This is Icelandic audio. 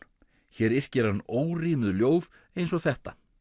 hér yrkir hann ljóð eins og þetta